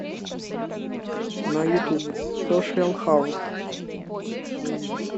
на ютуб сошиал хаус